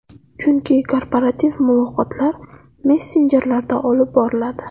Chunki korporativ muloqotlar messenjerlarda olib boriladi.